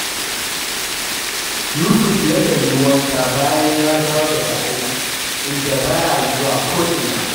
Yusuf yakan yi wanka bayan ya dawo daga aiki, inda ba ya zuwa ko’ina